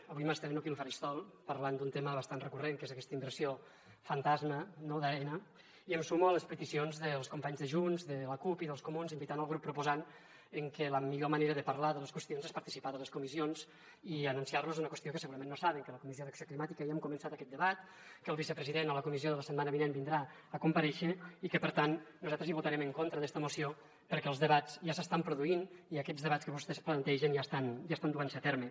avui m’estreno aquí al faristol parlant d’un tema bastant recurrent que és aquesta inversió fantasma d’aena i em sumo a les peticions dels companys de junts de la cup i dels comuns invitant el grup proposant que la millor manera de parlar de les qüestions és participar de les comissions i anunciar los una qüestió que segurament no saben que a la comissió d’acció climàtica ja hem començat aquest debat que el vicepresident a la comissió de la setmana vinent vindrà a comparèixer i que per tant nosaltres hi votarem en contra d’esta moció perquè els debats ja s’estan produint i aquests debats que vostès plantegen ja estan duent se a terme